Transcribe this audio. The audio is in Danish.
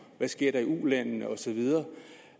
der sker i ulandene og så videre